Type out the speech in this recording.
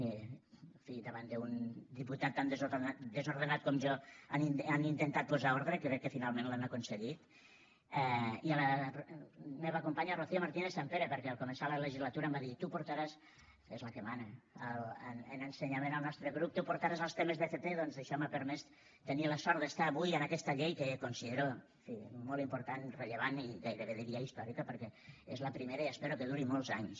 en fi davant d’un diputat tan desordenat com jo han intentat posar ordre crec que finalment l’han aconseguit i a la meva companya rocío martínez sampere perquè al començar la legislatura em va dir tu portaràs és la que mana en ensenyament al nostre grup els temes d’fp i doncs això m’ha permès tenir la sort d’estar avui en aquesta llei que considero en fi molt important rellevant i gairebé diria històrica perquè és la primera i espero que duri molts anys